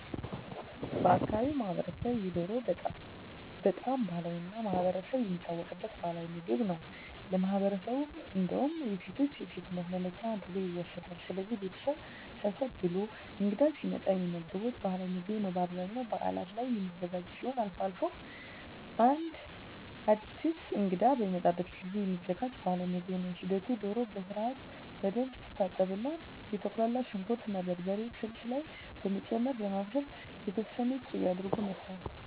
በአካባቢው ማህበረሰብ የዶሮ በጣም ባህላዊ እና ማህበረሰብ የሚታወቅበት ባህላዊ ምግብ ነው ለማህበረሠቡ እንዳውም የሴቶች የሴትነት መለኪያ አድርጎ ይወስደዋል። ስለዚህ ቤተሠብ ሰብሰብ ብሎ እንግዳ ሲመጣ የሚመገቡት ባህላዊ ምግብ ነው በአብዛኛው በዓላት ላይ የሚዘጋጅ ሲሆን አልፎ አልፎም አድስ እንግዳ በሚመጣ ጊዜም የሚዘጋጅ ባህልዊ ምግብ ነው ሂደቱ ዶሮ በስርዓትና በደንብ ትታጠብና የተቁላላ ሽንኩር እና በርበሬ ስልስ ላይ በመጨመር በማብሰል የተወሠነ ቂቤ አድርጎ መስራት